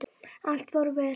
Allt fór vel.